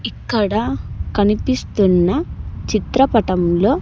ఇక్కడ కనిపిస్తున్న చిత్రపటంలో.